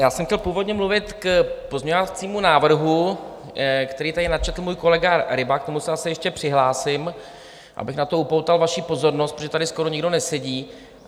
Já jsem chtěl původně mluvit k pozměňovacímu návrhu, který tady načetl můj kolega Ryba, k tomu se asi ještě přihlásím, abych na to upoutal vaši pozornost, protože tady skoro nikdo nesedí.